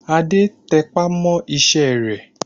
Adé tẹpá mọ́ iṣẹ́ rẹ̀